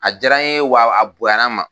A diyara n ye wa a bonya ma.